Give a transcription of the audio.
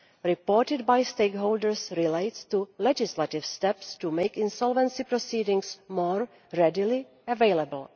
reported by stakeholders relates to legislative steps to make insolvency proceedings more readily available.